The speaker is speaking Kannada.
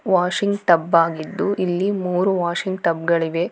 ವಾಷಿಂಗ್ ಟಬ್ ಆಗ್ಗಿದ್ದು ಇಲ್ಲಿ ಮೂರು ವಾಷಿಂಗ್ ಟಬ್ ಗಳಿವೆ.